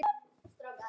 Blómin standa í klasa.